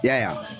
I y'a ye